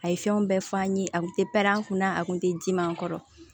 A ye fɛnw bɛɛ f'an ye a kun te pɛrɛn kunna a kun te dimi an kɔrɔ